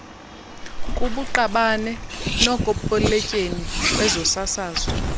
kubuqabane nokopoletyeni wezosasazo